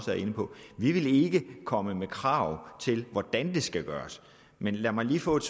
var inde på vi vil ikke komme med krav til hvordan det skal gøres men lad mig lige få et